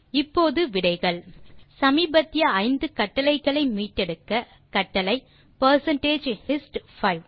இப்போது விடைகள் சமீபத்திய 5 கட்டளைகளை மீட்டெடுக்க கட்டளை பெர்சென்டேஜ் ஹிஸ்ட் 5